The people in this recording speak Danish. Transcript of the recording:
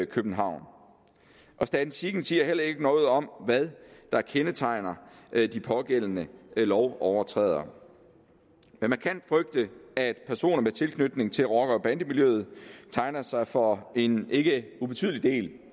københavn statistikken siger heller ikke noget om hvad der kendetegner de pågældende lovovertrædere man kan frygte at personer med tilknytning til rocker og bandemiljøet tegner sig for en ikke ubetydelig del